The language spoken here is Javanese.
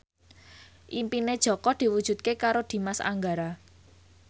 impine Jaka diwujudke karo Dimas Anggara